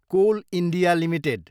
coal India Ltd